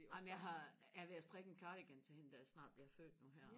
jamen jeg har jeg er ved og strikke en cardigan til hende der snart bliver født nu her